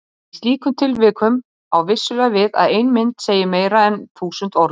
Í slíkum tilvikum á vissulega við að ein mynd segi meira en þúsund orð.